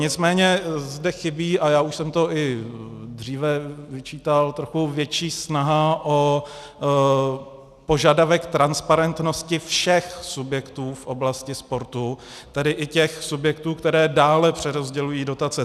Nicméně zde chybí, a já už jsem to i dříve vyčítal, trochu větší snaha o požadavek transparentnosti všech subjektů v oblasti sportu, tedy i těch subjektů, které dále přerozdělují dotace.